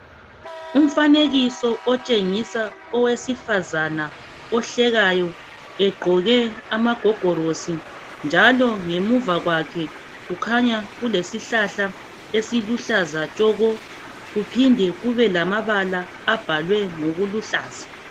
Umfanekiso otshengisa owesifazana ohlekayo egqoke amagogorosi, njalo ngemuva kwakhe kukhanya kulesihlahla esiluhlaza tshoko, kuphinde kube lamabala abhalwe ngokuluhlaza.